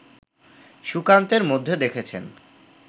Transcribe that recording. সুকান্তের মধ্যে দেখেছেন